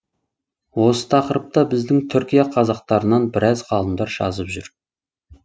осы тақырыпта біздің түркия қазақтарынан біраз ғалымдар жазып жүр